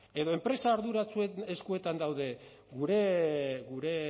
edo enpresa arduratsuen eskuetan daude gure